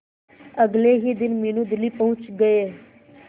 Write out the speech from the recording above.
अगले ही दिन मीनू दिल्ली पहुंच गए